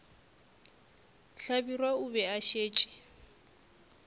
hlabirwa o be a šetše